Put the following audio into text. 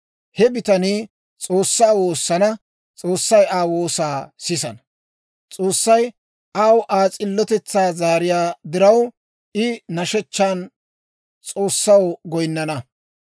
He bitanii S'oossaa woosana; S'oossay Aa woosaa sisana. S'oossay aw Aa s'illotetsaa zaariyaa diraw, I nashshechchan S'oossaw goyinnana.